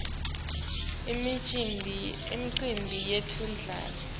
imicimbi yetemdlalo